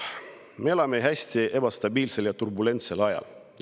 Me elame hästi ebastabiilsel ja turbulentsel ajal.